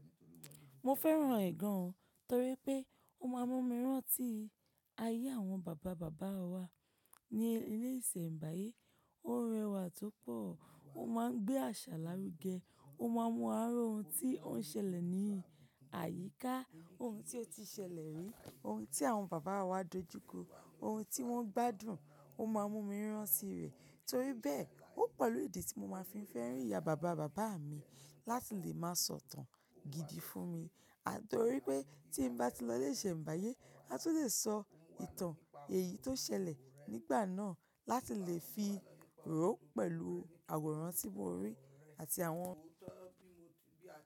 Mo fẹ́ràn ẹ̀ gan, torí pé ó máa ń mú mi rán tí ayé àwọn bàbá bàbá wa ní ilé ìṣẹ̀mbáyé. Ó rẹwà to pọ̀, ó máa ń gbé àṣà lárugẹ, ó máa ń mú wa ri ohun tí ó ń ṣẹlẹ̀ ní àyíká, ohun tí ó ti ṣẹlẹ̀ rí, ohun tí àwọn bàbá wa dojú kọ, ohun tí wọ́n gbádùn, ó máa ń mú mi rán tí rẹ̀. Torí bẹ́ẹ̀, ó pẹ̀lú ìdí tí mo máa fi ń fẹ́ràn ìyá bàbá bàbá mi láti lè máa sọ ìtàn gidi fún mi, torí pé tí n bá ti lọ ilé ìṣẹ̀mbáyé, a tun lè sọ ìtàn èyí tó ṣẹlẹ̀ nígbà náà láti lè fi ró pẹ̀lú àwòrán tí mo rí àti àwọn.